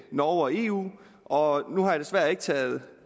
norge og eu og nu har jeg desværre ikke taget